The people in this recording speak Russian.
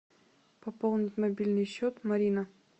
пополнить мобильный счет марина